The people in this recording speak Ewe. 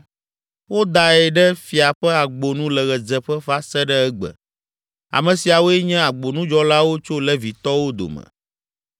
Wodae ɖe Fia ƒe Agbo nu le ɣedzeƒe va se ɖe egbe. Ame siawoe nye agbonudzɔlawo tso Levitɔwo dome.